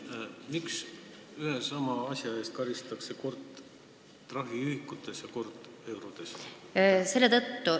Helmen, miks ühe ja sama asja eest karistatakse kord trahviühikuid aluseks võttes ja kord konkreetsetes eurodes?